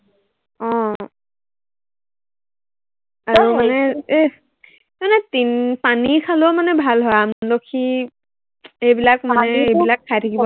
আহ আৰু মানে এৰ মানে পিন পানী খালেও মানে ভাল হয়. আমলখি, এইবিলাক মানে এইবিলাক খাই থাকিব